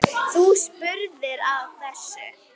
Þú spurðir að þessu.